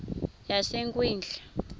yasekwindla